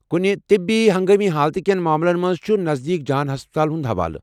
کٗنہِ طِبی ہنگٲمی حالتہٕ كین ماملن منز چھِ نزدیكھٕیہ جان ہسپتالن ہٖند حوالہٕ ۔